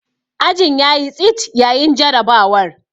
Ajin ya yi tsit yayin jarrabawar.